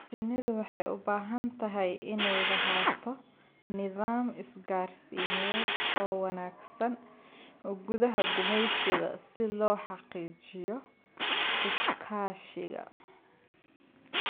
Shinnidu waxay u baahan tahay inay lahaato nidaam isgaarsiineed oo wanaagsan gudaha gumeysiga si loo xaqiijiyo iskaashiga.